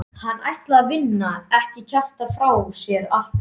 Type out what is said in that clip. Hann ætlaði að vinna, ekki kjafta frá sér allt vit.